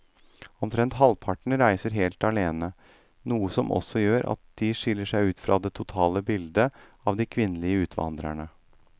Omtrent halvparten reiser helt alene, noe som også gjør at de skiller seg ut fra det totale bildet av de kvinnelige utvandrerne.